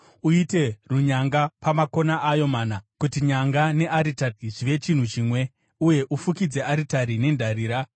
Uite runyanga pamakona ayo mana, kuti nyanga nearitari zvive chinhu chimwe, uye ufukidze aritari nendarira.